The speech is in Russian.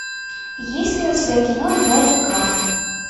есть ли у тебя кино дважды ква